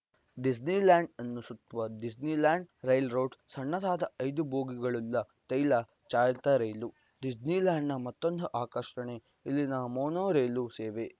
Disneyland ಅನ್ನು ಸುತ್ತುವ Disneyland railroad ಸಣ್ಣದಾದ ಐದು ಬೋಗಿಗಳುಳ್ಳ ತೈಲ ಚಾಲಿತ ರೈಲು ಡಿಸ್ನಿಲ್ಯಾಂಡ್‌ನ ಮತ್ತೊಂದು ಆಕರ್ಷಣೆ ಇಲ್ಲಿನ ಮೋನೋ ರೈಲು ಸೇವೆ